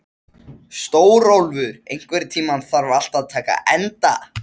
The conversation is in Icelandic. Stórólfur, einhvern tímann þarf allt að taka enda.